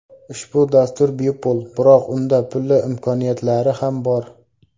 Ushbu dastur bepul, biroq unda pulli imkoniyatlari ham bor.